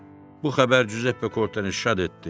Bu xəbər Cüzeppe Korteini şad etdi